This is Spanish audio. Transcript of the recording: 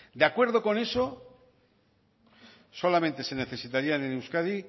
de acuerdo con eso solamente se necesitarían en euskadi